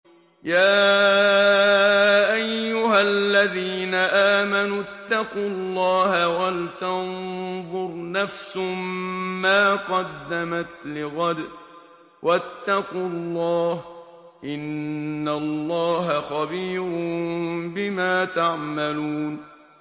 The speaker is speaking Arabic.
يَا أَيُّهَا الَّذِينَ آمَنُوا اتَّقُوا اللَّهَ وَلْتَنظُرْ نَفْسٌ مَّا قَدَّمَتْ لِغَدٍ ۖ وَاتَّقُوا اللَّهَ ۚ إِنَّ اللَّهَ خَبِيرٌ بِمَا تَعْمَلُونَ